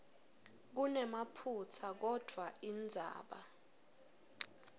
kunemaphutsa kodvwa indzaba